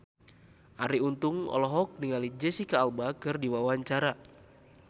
Arie Untung olohok ningali Jesicca Alba keur diwawancara